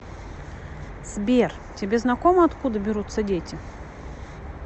сбер тебе знакомо откуда берутся дети